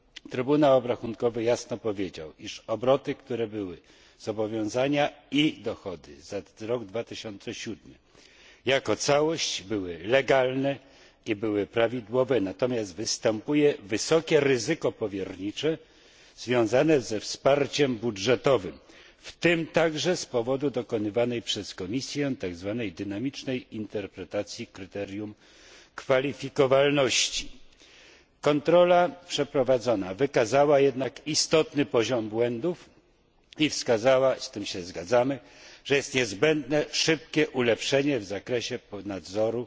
Trybunał Obrachunkowy jasno stwierdził, iż obroty, zobowiązania i dochody za rok 2007 jako całość były legalne i prawidłowe, wystąpiło natomiast wysokie ryzyko powiernicze związane ze wsparciem budżetowym, w tym także z powodu dokonywanej przez Komisję tak zwanej dynamicznej interpretacji kryterium kwalifikowalności. Przeprowadzona kontrola wykazała jednak istotny poziom błędów i wskazała z tym się zgadzamy że jest niezbędne szybkie ulepszenie w zakresie nadzoru